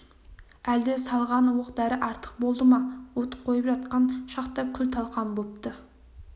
әлде салған оқ-дәрі артық болды ма от қойып атқан шақта күл-талқан бопты